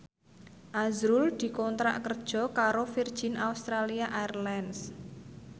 azrul dikontrak kerja karo Virgin Australia Airlines